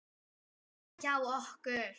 Þannig var það hjá okkur.